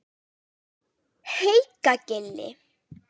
Haukagili